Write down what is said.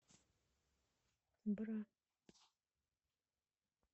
бра